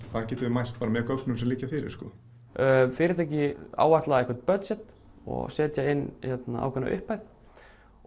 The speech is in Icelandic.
það getum við mælt með gögnum sem liggja fyrir fyrirtæki áætla einhver budget og setja inn ákveðna upphæð og